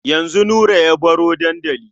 Yanzu Nura ya baro dandali.